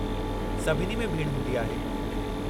सभिनी में भीड़ हूंदी आहे।